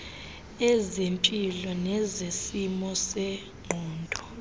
ezempilo nezesimo sengqondo